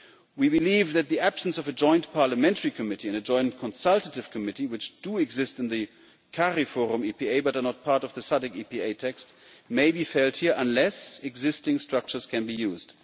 We believe that the absence of a joint parliamentary committee and a joint consultative committee, which exist in the Cariforum EPA but are not part of the SADC EPA text, may be felt here unless existing structures can be used.